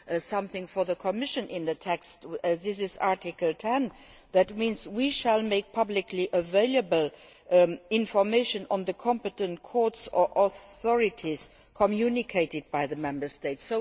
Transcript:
something for the Commission in the text Article 10 requires us to make publicly available information on the competent courts or authorities communicated by the Member States.